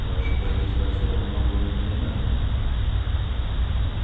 вы ошибаетесь во всем и многого не понимаете